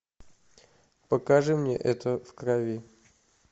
покажи мне это в крови